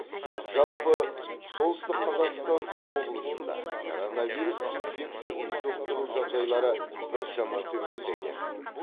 жалпы солтүстік қазақстан облысында коронавирус инфекциясын жұқтыру жағдайлары біршама төмендеген